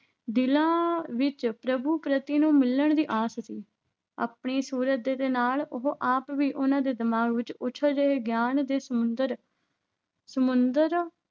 ਦਿਲਾਂ ਵਿੱਚ ਪ੍ਰਭੂ ਪਤੀ ਨੂੰ ਮਿਲਣ ਦੀ ਆਸ ਸੀ, ਆਪਣੀ ਸੁਰਤ ਦੇ ਨਾਲ ਉਹ ਆਪ ਵੀ ਉਹਨਾਂ ਦੇ ਦਿਮਾਗ ਵਿੱਚ ਉਛਲ ਰਹੇ ਗਿਆਨ ਦੇ ਸਮੁੰਦਰ ਸਮੁੰਦਰ